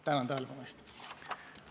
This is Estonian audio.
Tänan tähelepanu eest!